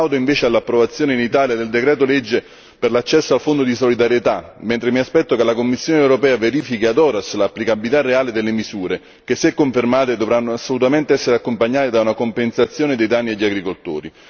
Plaudo invece all'approvazione in Italia del decreto legge per l'accesso al Fondo di solidarietà, mentre mi aspetto che la Commissione europea verifichi ad horas l'applicabilità reale delle misure che, se confermate, dovranno assolutamente essere accompagnate da una compensazione dei danni agli agricoltori.